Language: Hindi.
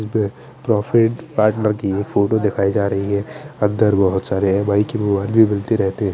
इसमें प्रॉफिट पार्टनर की एक फोटो दिखाई जा रही है अंदर बहोत सारे एम_आई के मोबाइल भी मिलते रहते है।